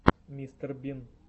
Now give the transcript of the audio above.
мистер бин